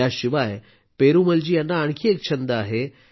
त्याशिवाय पेरूमलजी यांना आणखी एक छंद आहे